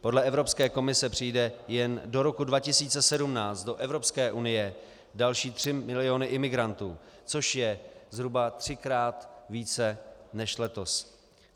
Podle Evropské komise přijdou jen do roku 2017 do Evropské unie další 3 miliony imigrantů, což je zhruba třikrát více než letos.